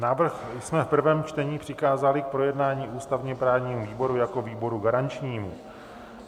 Návrh jsme v prvém čtení přikázali k projednání ústavně-právnímu výboru jako výboru garančnímu.